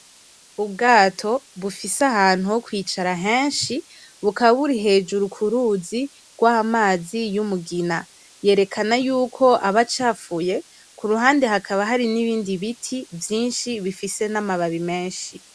Ubwato bufise ahantu ho kwicara heshi bukaba buri hejuru ku ruzi rwa mazi y'umugina, yerekana yuko aba acafuye k'uruhande hakaba hari n'ibindi biti vyishi bifise n'amababi meshi.